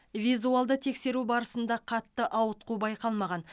визуалды тексеру барысында қатты ауытқу байқалмаған